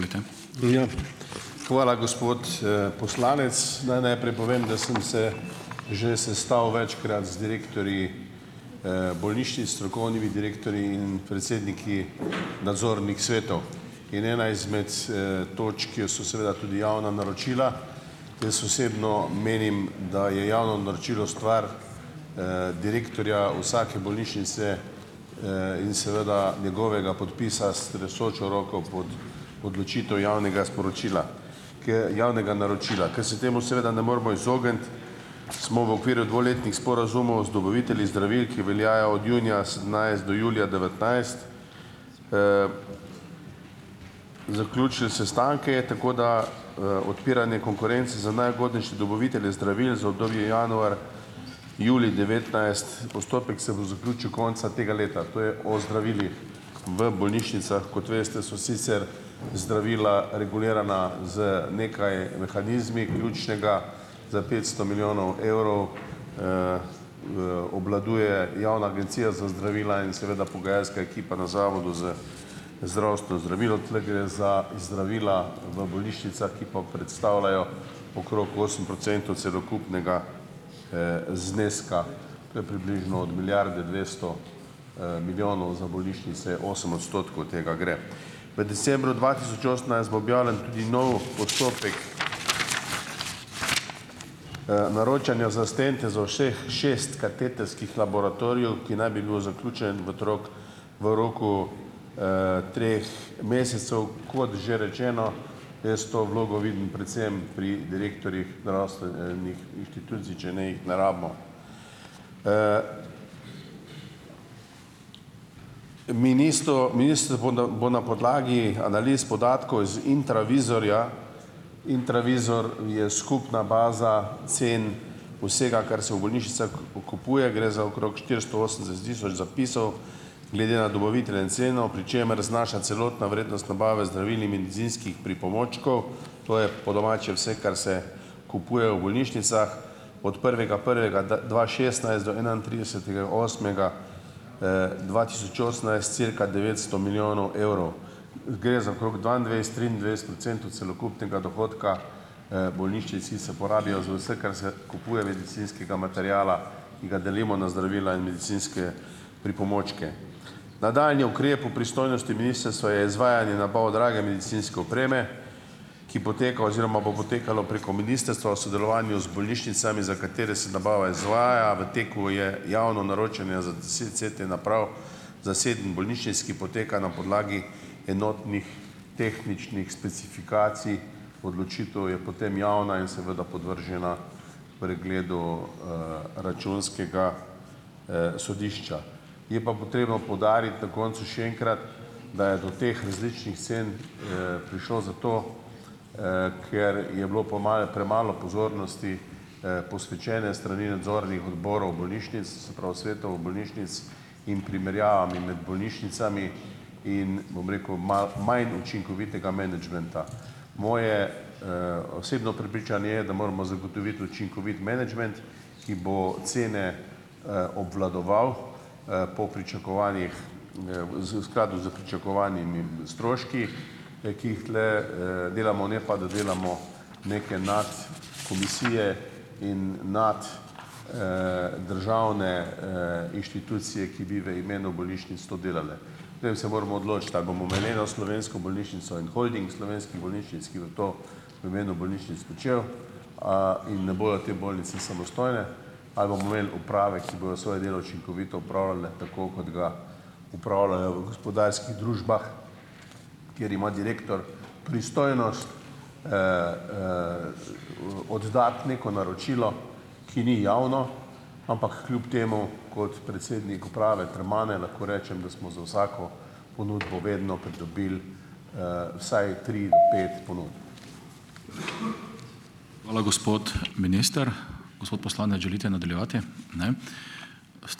Ja, hvala, gospod poslanec. Naj najprej povem, da sem se že sestal večkrat z direktorji bolnišnic, strokovnimi direktorji in predsedniki nadzornih svetov in ena izmed točk, kjer so seveda tudi javna naročila. Jaz osebno menim, da je javno naročilo stvar direktorja vsake bolnišnice in seveda njegovega podpisa s tresočo roko pod odločitev javnega sporočila. javnega naročila. Ker se temu seveda ne moremo izogniti, smo v okviru dvoletnih sporazumov z dobavitelji zdravil, ki veljajo od junija sedemnajst do julija devetnajst, zaključili sestanke, tako da odpiranje konkurence za najugodnejše dobavitelje zdravil za obdobje januar julij devetnajst. Postopek se bo zaključil konca tega leta, to je o zdravilih. V bolnišnicah, kot veste, so sicer zdravila regulirana z nekaj mehanizmi, ključnega za petsto milijonov evrov obvladuje Javna agencija za zdravila in seveda pogajalska ekipa na Zavodu za zdravstvo zdravil, tule gre za zdravila v bolnišnicah, ki pa predstavljajo okrog osem procentov celokupnega zneska, to je približno od milijarde dvesto milijonov, za bolnišnice osem odstotkov tega gre. V decembru dva tisoč osemnajst bo objavljen tudi nov postopek naročanja za stente za vseh šest katetrskih laboratorijev, ki naj bi bil zaključen v trok v roku treh mesecev. Kot že rečeno, jaz to vlogo vidim predvsem pri direktorjih nih inštitucij, če ne jih ne rabimo. bo na podlagi analiz podatkov iz Intravizorja. Intravizor je skupna baza cen vsega, kar se v bolnišnicah kupuje. Gre za okrog štiristo osemdeset tisoč zapisov, glede na dobavitelje in ceno, pri čemer znaša celotna vrednost nabave zdravil in medicinskih pripomočkov, to je po domače vse, kar se kupuje v bolnišnicah, od prvega prvega dva šestnajst do enaintridesetega osmega dva tisoč osemnajst, cirka devetsto milijonov evrov. Gre za okrog dvaindvajset, triindvajset procentov celokupnega dohodka. Bolnišnici se porabijo za vse, kar se kupuje medicinskega materiala, ki ga delimo na zdravila in medicinske pripomočke. Nadaljnji ukrep v pristojnosti ministrstva je izvajanje na pol drage medicinske opreme, ki poteka oziroma bo potekalo preko ministrstva sodelovanju z bolnišnicami, za katere se nabava izvaja. V teku je javno naročanje za za sedem bolnišnic, ki poteka na podlagi enotnih tehničnih specifikacij, odločitev je potem javna in seveda podvržena pregledu Računskega sodišča. Je pa potreba poudariti na koncu še enkrat, da je do teh različnih cen prišlo zato, ker je bilo premalo pozornosti posvečene s strani nadzornih odborov bolnišnic, se pravi svetov bolnišnic, in primerjavami med bolnišnicami in, bom rekel, malo manj učinkovitega menedžmenta. Moje osebno prepričanje je, da moramo zagotoviti učinkovit menedžment, ki bo cene obvladoval po pričakovanjih z v skladu s pričakovanimi stroški, ki jih tule delamo, ne pa da delamo neke notri komisije in notri državne inštitucije, ki bi v imenu bolnišnic to delale. Potem se moramo odločiti, ali bomo imeli eno slovensko bolnišnico in holding slovenskih bolnišnic, ki bo to v imenu bolnišnic počel in ne bodo te bolnice samostojne, ali bomo imeli uprave, ki bodo svoje delo učinkovito opravljale, tako kot ga opravljajo v gospodarskih družbah, kjer ima direktor pristojnost oddati neko naročilo, ki ni javno, ampak kljub temu kot predsednik uprave Termane lahko rečem, da smo za vsako ponudbo vedno pridobili vsaj tri do pet ponudb.